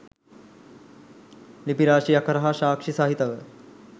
ලිපි රාශියක් හරහා සාක්ෂි සහිතව